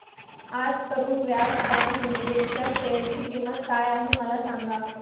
आज Karur Vysya bank limited च्या share ची किंमत काय आहे मला सांगा